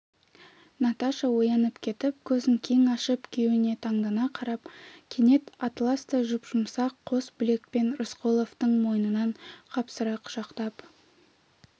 наташа оянып кетіп көзін кең ашып күйеуіне таңдана қарап кенет атластай жұп-жұмсақ қос білекпен рысқұловтың мойнынан қапсыра құшақтап